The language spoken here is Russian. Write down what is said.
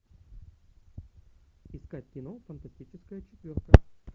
искать кино фантастическая четверка